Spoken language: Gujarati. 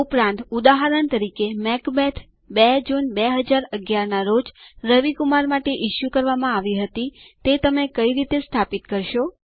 ઉપરાંત ઉદાહરણ તરીકે મેકબેથ 2 જૂન 2011 ના રોજ રવિ કુમાર માટે ઇસ્યુ કરવામાં આવી હતી તે તમે કઈ રીતે સ્થાપિત કરશો